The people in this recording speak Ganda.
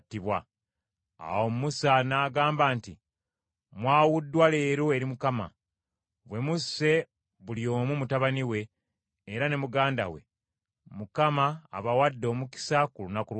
Awo Musa n’agamba nti, “Mwawuddwa leero eri Mukama , bwe musse buli omu mutabani we, era ne muganda we; Mukama abawadde omukisa ku lunaku lwa leero.”